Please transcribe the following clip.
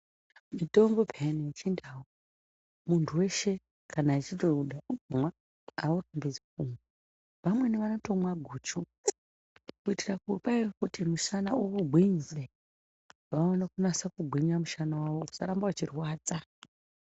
Mutombo pheya wechindau kana muntu weshe achida kuumwa haurambidzwi umweni anomwa guchu kuitira kuti musana ugwinye vaone kunyasa kugwinya mushana wavo usaramba uchirwadza.